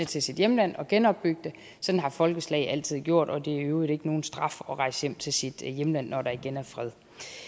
til sit hjemland og genopbygge det sådan har folkeslag altid gjort og det er i øvrigt ikke nogen straf at rejse hjem til sit hjemland når der igen er fred